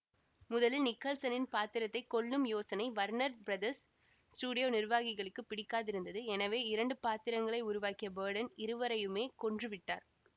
முதலில் நிக்கல்சனின் பாத்திரத்தை கொல்லும் யோசனை வர்னர் பிரதர்ஸ் ஸ்டுடியோ நிர்வாகிகளுக்கு பிடிக்காதிருந்தது எனவே இரண்டு பாத்திரங்களை உருவாக்கிய பர்டன் இருவரையுமே கொன்று விட்டார்